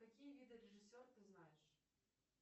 какие виды режиссер ты знаешь